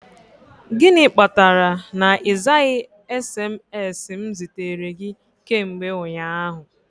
Gịnị kpatara na ịzaghị SMS m zitere gị kemgbe ụnyaahụ?